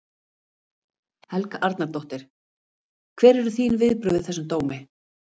Helga Arnardóttir: Hver eru þín viðbrögð við þessum dómi?